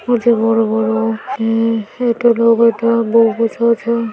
প্রচুর বড়ো বড়ো। আ একটা লোক একটা বউ বসে আছে।